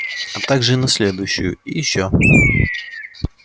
а также и на следующую и ещё